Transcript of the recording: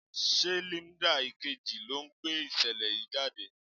Ṣé Linda Ìkejì ló ń gbé ìṣẹ̀lẹ̀ yìí jáde?